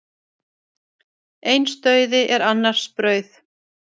Eins dauði er annars brauð.